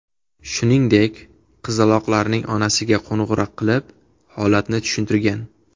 Shuningdek, qizaloqlarning onasiga qo‘ng‘iroq qilib, holatni tushuntirgan.